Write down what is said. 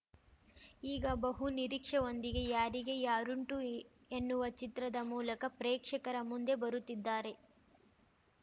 ಈಗ ಬಹು ನಿರೀಕ್ಷೆವೊಂದಿಗೆ ಯಾರಿಗೆ ಯಾರುಂಟು ಎನ್ನುವ ಚಿತ್ರದ ಮೂಲಕ ಪ್ರೇಕ್ಷಕರ ಮುಂದೆ ಬರುತ್ತಿದ್ದಾರೆ